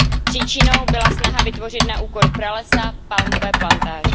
Příčinou byla snaha vytvořit na úkor pralesa palmové plantáže.